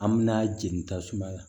An me na jeni tasuma la